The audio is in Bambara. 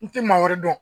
N tɛ maa wɛrɛ dɔn